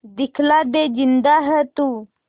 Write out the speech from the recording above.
दिखला दे जिंदा है तू